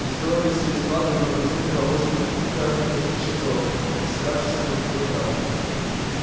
и строили свои склады и магазины по обочинам пяти красных раскисших дорог пересекавшихся позади вокзала